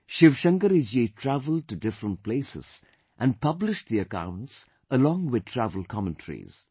Shiv Shankari Ji travelled to different places and published the accounts along with travel commentaries